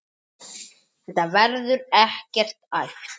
Þetta verður ekkert æft.